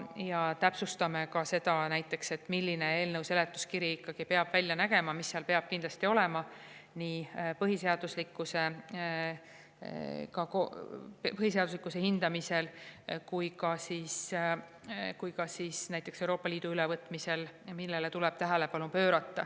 Ja täpsustame ka seda, milline eelnõu seletuskiri peab välja nägema, mis seal peab kindlasti olema, millele tuleb kindlasti tähelepanu pöörata nii põhiseaduslikkuse hindamise kui ka näiteks Euroopa Liidu.